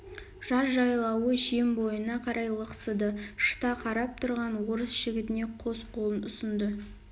жаз жайлауы жем бойына қарай лықсыды шыта қарап тұрған орыс жігітіне қос қолын ұсынды